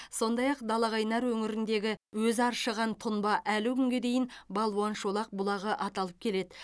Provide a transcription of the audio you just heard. сондай ақ далақайнар өңіріндегі өзі аршыған тұнба әлі күнге дейін балуан шолақ бұлағы аталып келеді